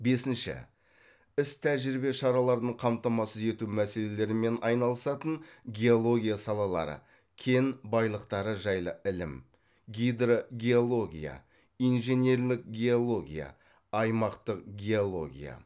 бесінші іс тәжірибе шараларын қамтамасыз ету мәселелерімен айналысатын геология салалары кен байлықтары жайлы ілім гидрогеология инженерлік геология аймақтық геология